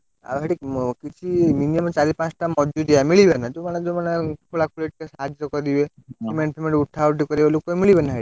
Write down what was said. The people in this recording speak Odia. ଆଉ ସେଠି କିଛି minimum ଚାରି ପାଞ୍ଚଟା ମଜୁରିଆ ମିଳିବେନା ଯଉମାନେ ଯଉମାନେ ଆଉ ଖୋଲାଖୋଳି ରେ ଟିକେ ସାହାଯ୍ୟ କରିବେ ସିମେଣ୍ଟ ଫିଫେଣ୍ଟ ଉଠା ଉଠି କରିବେ ଲୋକ ମିଲିବେ ନା ସେଇଠି?